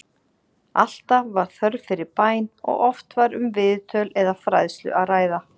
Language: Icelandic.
Alltaf var þörf fyrir bæn og oft var um viðtöl eða fræðslu að ræða.